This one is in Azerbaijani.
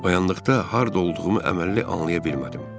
Oyandıqda harda olduğumu əməlli anlaya bilmədim.